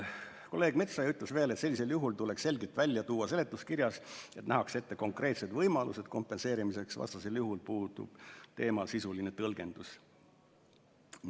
Kolleeg Metsoja ütles veel, et sellisel juhul tuleks seletuskirjas selgelt välja tuua, et nähakse ette konkreetsed võimalused kompenseerimiseks, vastasel juhul puudub teemal sisuline tõlgendus.